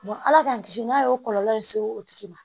Ala k'an kisi n'a y'o kɔlɔlɔ se o tigi ma